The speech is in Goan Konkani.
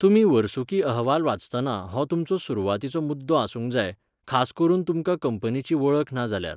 तुमी वर्सुकी अहवाल वाचतना हो तुमचो सुरवातीचो मुद्दो आसूंक जाय, खास करून तुमकां कंपनीची वळख ना जाल्यार.